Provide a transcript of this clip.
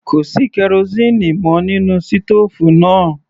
Kò sí kerosíínì mọ́ nínú sítòòfù náà.